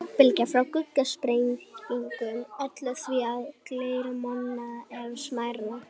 Höggbylgjur frá gufusprengingum ollu því að glerið molnaði enn smærra.